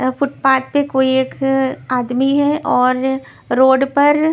footpath पे कोई एक आदमी है और रोड पर--